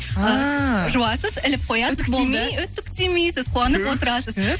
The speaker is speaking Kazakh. ііі жуасыз іліп қоясыз үтіктемей үтіктемейсіз қуанып отрасыз күшті